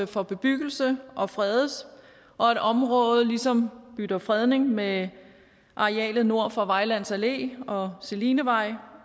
for bebyggelse og fredes og at området ligesom bytter fredning med arealet nord for vejlands allé og selinevej